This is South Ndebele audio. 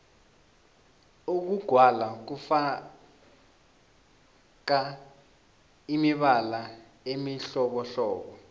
ukugwala kufaka imibala emihlobohlobo